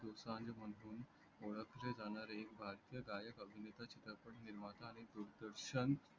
दोसांज महणुन ओळखले जाणारे भरतीय गायक अभिनता चित्रपट निर्माता आणि ग्रुप दर्शन